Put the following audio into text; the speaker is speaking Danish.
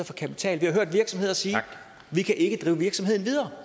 for kapital vi hørt virksomheder sige vi kan ikke drive virksomheden videre